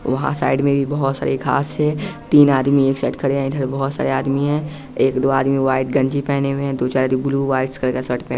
वहाँ साइड में भी बहुत सारे खास से तीन आदमी एक साइड खड़े हैं इधर बहुत सारे आदमी हैं एक दो आदमी वाइट गंजी पहने हुए हैं दो चार ब्लू वाइट कलर का सर्ट --